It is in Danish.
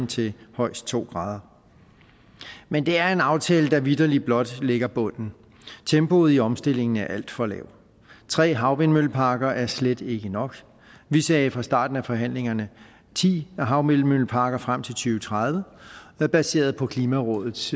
til højst to grader men det er en aftale der vitterlig blot lægger bunden tempoet i omstillingen er alt for lavt tre havvindmølleparker er slet ikke nok vi sagde fra starten af forhandlingerne ti havvindmølleparker frem til og tredive baseret på klimarådets